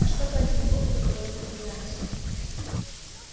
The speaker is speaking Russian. а что по этому поводу говорят корелианцы